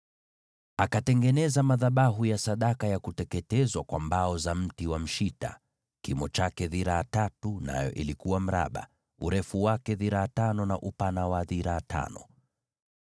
Akatengeneza madhabahu ya sadaka ya kuteketezwa kwa mbao za mti wa mshita, kimo chake dhiraa tatu; nayo ilikuwa mraba, urefu wake dhiraa tano, na upana wa dhiraa tano